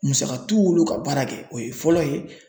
Musaka t'u wolo ka baara kɛ o ye fɔlɔ ye.